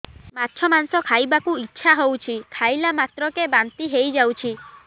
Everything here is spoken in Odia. ମାଛ ମାଂସ ଖାଇ ବାକୁ ଇଚ୍ଛା ହଉଛି ଖାଇଲା ମାତ୍ରକେ ବାନ୍ତି ହେଇଯାଉଛି